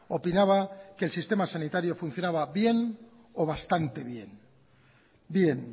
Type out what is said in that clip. opinaba que el sistema sanitario funcionaba bien o bastante bien bien